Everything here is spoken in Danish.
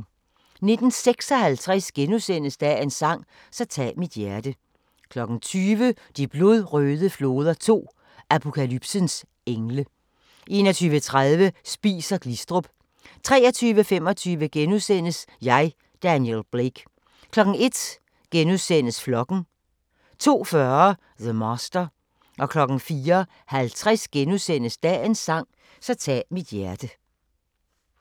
19:56: Dagens sang: Så tag mit hjerte * 20:00: De blodrøde floder 2 – Apokalypsens engle 21:30: Spies & Glistrup 23:25: Jeg, Daniel Blake * 01:00: Flokken * 02:40: The Master 04:50: Dagens sang: Så tag mit hjerte *